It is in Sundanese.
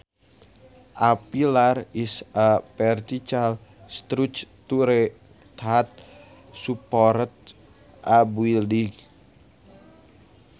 A pillar is a vertical structure that supports a building